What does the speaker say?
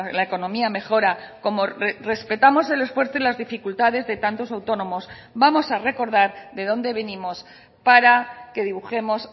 la economía mejora como respetamos el esfuerzo y las dificultades de tantos autónomos vamos a recordar de dónde venimos para que dibujemos